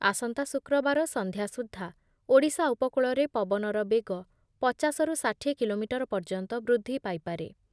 ଆସନ୍ତା ଶୁକ୍ରବାର ସନ୍ଧ୍ୟା ସୁଦ୍ଧା ଓଡ଼ିଶା ଉପକୂଳରେ ପବନର ବେଗ ପଚାଶ ରୁ ଷାଠିଏ କିଲୋମିଟର ପର୍ଯ୍ୟନ୍ତ ବୃଦ୍ଧି ପାଇପାରେ ।